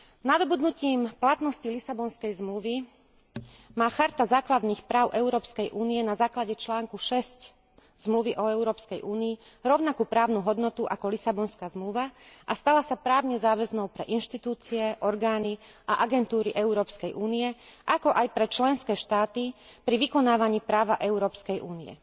Nadobudnutím platnosti Lisabonskej zmluvy má Charta základných práv Európskej únie na základe článku 6 Zmluvy o Európskej únii rovnakú právnu hodnotu ako Lisabonská zmluva a stala sa právne záväznou pre inštitúcie, orgány a agentúry Európskej únie, ako aj pre členské štáty pri vykonávaní práva Európskej únie.